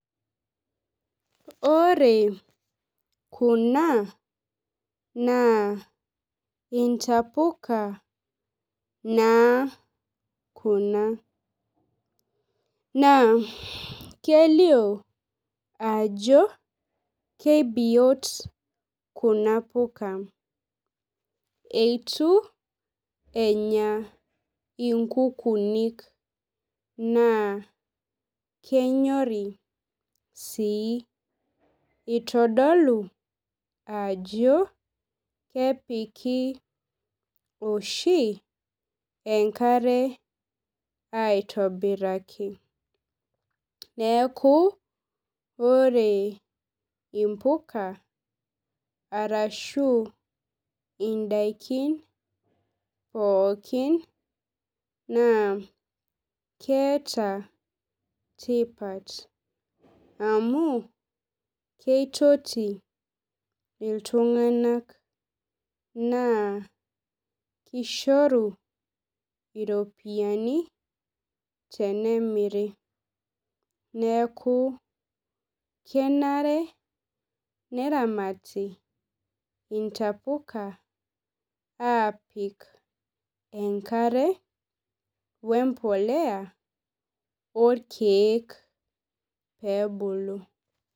Ore kuna naa intapuka naa kuna naa kelio ajo kebiot kuna puka itubenya inkukunik naa kenyori ai itodolu ajo kepiki oshi enkare aitobiraki neaku ore impuka arashu indakin pooki na keeta tipat amu keitoti ltunganak na kishoru iropiyiani tenemiri neaku kenare neramati intapuka apik enkare wempolea orkiek peebulu